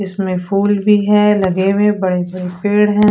इसमें फूल भी है लगे हुए बड़े बड़े पेड़ है।